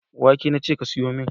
wake nace ka siyumin.